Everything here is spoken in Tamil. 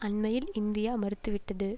அண்மையில் இந்தியா மறுத்துவிட்டது